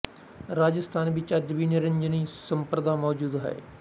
ਰਾਜਸਥਾਨ ਵਿੱਚ ਅੱਜ ਵੀ ਨਿਰੰਜਨੀ ਸੰਪਰਦਾ ਮੋਜੂਦ ਹੈ